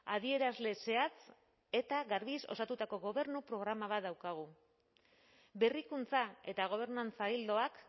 adierazle zehatz eta garbiz osatutako gobernu programa bat daukagu berrikuntza eta gobernantza ildoak